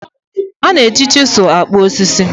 A na-eji chisilu kpụọ osisi.